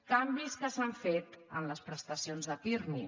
canvis que s’han fet en les presta·cions de pirmi